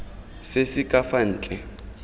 se se ka fa ntle